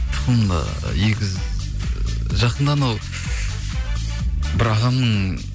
тұқымда егіз жақында анау бір ағамның